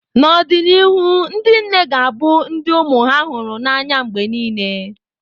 N’ọdịnihu, ndị nne ga-abụ ndị ụmụ ha hụrụ n’anya mgbe nile.